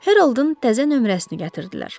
Heroldun təzə nömrəsini gətirdilər.